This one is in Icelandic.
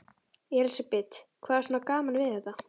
Elísabet: Hvað er svona gaman við þetta?